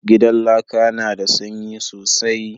Gidan laƙa na da sanyi sosai